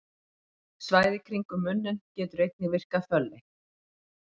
Svæðið í kringum munninn getur einnig virkað fölleitt.